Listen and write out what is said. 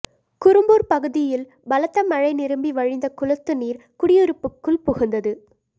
குரும்பூர் பகுதியில் பலத்த மழை நிரம்பி வழிந்த குளத்துநீர் குடியிருப்புக்குள் புகுந்தது